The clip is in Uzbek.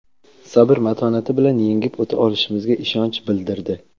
sabr-matonati bilan yengib o‘ta olishimizga ishonch bildirdi.